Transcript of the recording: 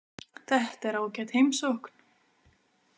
Þetta er ágæt heimsókn.